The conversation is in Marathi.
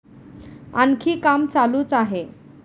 आणखी काम चालूच आहे.